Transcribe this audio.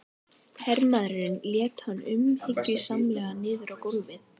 Hermaðurinn lét hann umhyggjusamlega niður á gólfið.